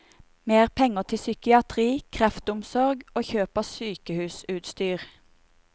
Mer penger til psykiatri, kreftomsorg og kjøp av sykehusutstyr.